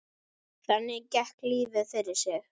Þannig gekk lífið fyrir sig.